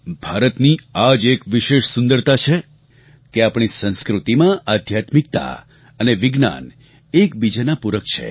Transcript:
ભારતની આ જ એક વિશેષ સુંદરતા છે કે આપણી સંસ્કૃતિમાં આધ્યાત્મિકતા અને વિજ્ઞાન એકબીજાનાં પૂરક છે